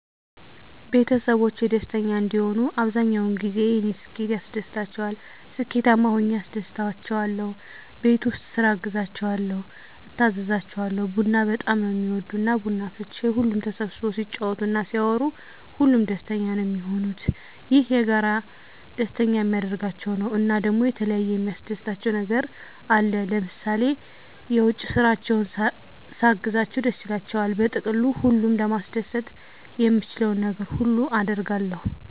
ቤተሰቦቼ ደስተኛ እንዲሆኑ አብዛኛዉ ጊዜ የኔ ስኬት ያስደስታቸዋል ስኬታማ ሁኘ አስደስታቸዋለሁ፣ ቤት ዉስጥ ስራ አግዛቸዋለሁ፣ እታዘዛቸዋለሁ፣ ቡና በጣም ነዉ እሚወዱ እና ቡና አፍልቼ ሁሉም ተሰብስቦ ሲጫወት እና ሲያወሩ ሁሉም ደስተኛ ነዉ እሚሆኑት፣ ይሄ የጋራ ደስተኛ እሚያደርጋቸዉ ነዉ። እና ደሞ የተለያየ የሚያስደስታቸዉ ነገር አለ ለምሳሌ የዉጭ ስራቸዉን ሳግዛቸዉ ደስ ይላቸዋል። በጥቅሉ ሁሉን ለማስደሰት የምችለዉን ነገር ሁሉ አደርጋለሁ።